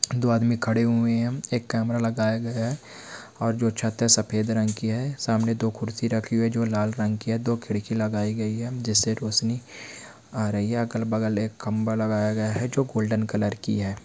दो आदमी खड़े हुए हैं एक कैमरा लगाया गया है और जो छत है सफ़ेद रंग की है सामने दो कुर्सी रखी हुई है जो लाल रंग की है। दो खिड़की लगाई गई है जिससे रौशनी आ रही है अगल-बगल एक खंभा लगाया गया है जो गोल्डन कलर की है।